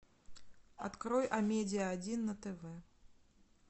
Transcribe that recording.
открой амедиа один на тв